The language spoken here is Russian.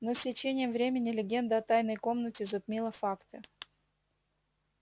но с течением времени легенда о тайной комнате затмила факты